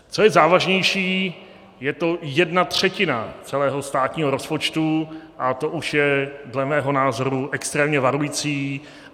Co je závažnější, je to jedna třetina celého státního rozpočtu a to už je dle mého názoru extrémně varující.